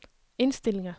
indstillinger